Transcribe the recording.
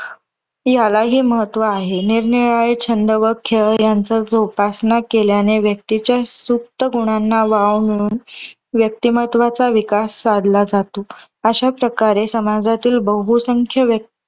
यालाही महत्व आहे. निरनिराळे छंद व खेळ यांचा जोपासना केल्याने व्यक्तीच्या सूक्त गुणांना वाव मिळून व्यक्तिमत्वाचा विकास साधला जातो. अश्या प्रकारे समाजातील बहुसंख्य व्य